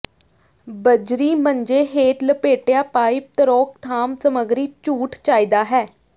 ਬੱਜਰੀ ਮੰਜੇ ਹੇਠ ਲਪੇਟਿਆ ਪਾਈਪ ਤਰੋਕਥਾਮ ਸਮੱਗਰੀ ਝੂਠ ਚਾਹੀਦਾ ਹੈ